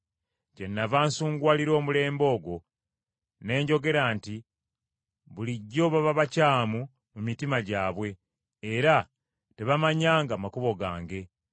Kyennava nsunguwalira omulembe ogwo, ne njogera nti bulijjo baba bakyamu mu mitima gyabwe, era tebamanyi makubo gange.